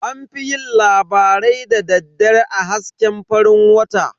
An fi yin labarai da daddare a hasken farin wata.